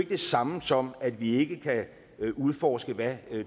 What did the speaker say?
det samme som at vi ikke kan udforske hvad